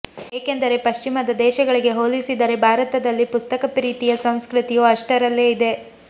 ಏಕೆಂದರೆ ಪಶ್ಚಿಮದ ದೇಶಗಳಿಗೆ ಹೋಲಿಸಿದರೆ ಭಾರತದಲ್ಲಿ ಪುಸ್ತಕಪ್ರೀತಿಯ ಸಂಸ್ಕೃತಿಯು ಅಷ್ಟರಲ್ಲೇ ಇದೆ